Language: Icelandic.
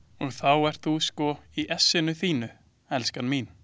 Og þá ert þú sko í essinu þínu, elskan mín!